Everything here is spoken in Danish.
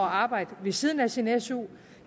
arbejde ved siden af sin su